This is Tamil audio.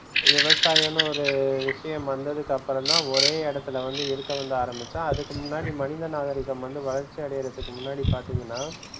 விவசாயம்னு ஒரு விஷயம் வந்ததுக்கப்புறம் தான் ஒரே இடத்தில வந்து இருக்கணும்னு ஆரமிச்சான். அதுக்கு முன்னாடி மனித நாகரீகம் வந்து வளர்ச்சி அடையிறதுக்கு முன்னாடி பாத்திங்கன்னா,